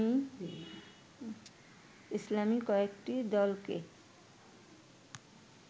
ইসলামী কয়েকটি দলকে